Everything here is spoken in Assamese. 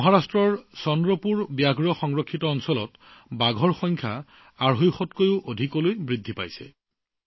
মহাৰাষ্ট্ৰৰ চন্দ্ৰপুৰ বাঘ সংৰক্ষিত বনাঞ্চলত বাঘৰ সংখ্যা দুশ পঞ্চাশটাতকৈও অধিক হৈছে